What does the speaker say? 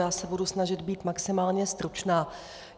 Já se budu snažit být maximálně stručná.